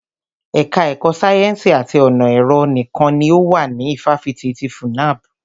Ẹka ẹ̀kọ́ sáyẹ́nsì àti ọ̀nà ẹ̀rọ nìkan ni ó wà ní ifáfitì ti FUNAB.